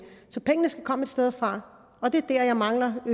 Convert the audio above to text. så pengene skal komme et sted fra og det er der jeg mangler at